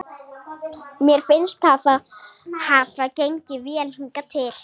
Mér finnst þetta hafa gengið vel hingað til.